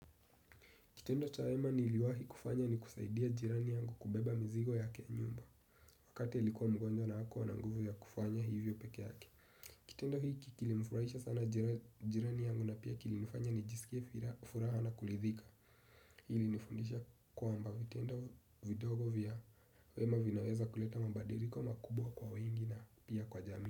Kitendo cha wema niliwahi kufanya ni kusaidia jirani yangu kubeba mizigo yake ya nyumba wakati alikuwa mgonjwa na hakuwa na nguvu ya kufanya hivyo peke yake. Kitendo hii kilimfurahisha sana jirani yangu na pia kilinifanya nijisikie furaha na kuridhika. Ilinifundisha kwamba vitendo vidogo vya wema vinaweza kuleta mabadiliko makubwa kwa wengi na pia kwa jamii.